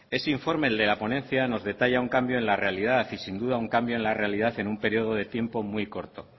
ese informe el de la ponencia nos detalla un cambio en la realidad y sin duda un cambio en la realidad en un periodo de tiempo muy corto